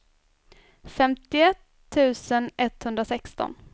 femtioett tusen etthundrasexton